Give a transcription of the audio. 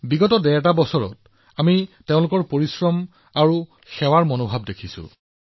যোৱা ডেৰ বছৰত আমি যথেষ্ট নিষ্ঠা আৰু কঠোৰ পৰিশ্ৰম দেখিছো